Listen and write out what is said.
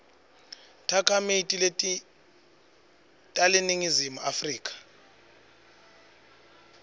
takhamiti teleningizimu afrika